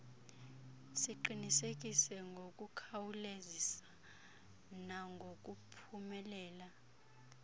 siqinisekise ngokukhawulezisa nangokuphumelela